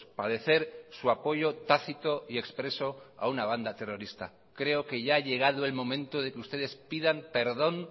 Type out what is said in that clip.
padecer su apoyo tácito y expreso a una banda terrorista creo que ya ha llegado el momento de que ustedes pidan perdón